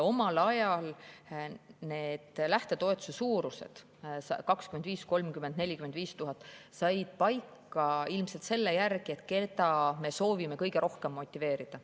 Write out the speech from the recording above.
Omal ajal said need lähtetoetuse suurused – 25 000, 30 000, 45 000 – paika ilmselt selle järgi, keda me soovisime kõige rohkem motiveerida.